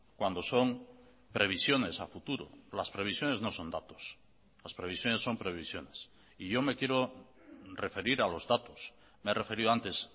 cuando son previsiones a futuro las previsiones no son datos las previsiones son previsiones y yo me quiero referir a los datos me he referido antes